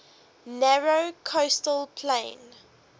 narrow coastal plain